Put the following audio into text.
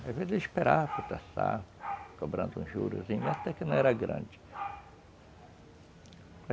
Às vezes ele esperava para, cobrando um jurozinhos, até que não era grande.